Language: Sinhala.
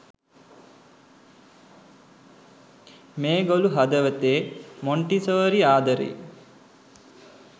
මේ ගොලු හදවතේ මොන්ටිසෝරි ආදරේ